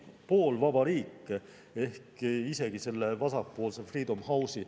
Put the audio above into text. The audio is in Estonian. Poolvaba riik ehk isegi selle vasakpoolse Freedom House'i …